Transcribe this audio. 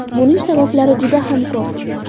Buning sabablari juda ham ko‘p.